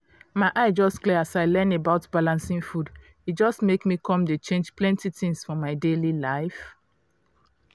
my eye just clear as i learn about balancing food e just make me come dey change plenty things for my daily life.